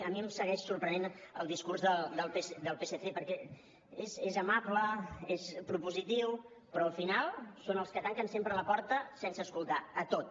a mi em segueix sorprenent el discurs del psc perquè és amable és propositiu però al final són els que tanquen sempre la porta sense escoltar a tot